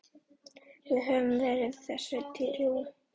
Við höfum verið þessu trú.